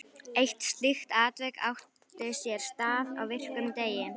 Eitt slíkt atvik átti sér stað á virkum degi.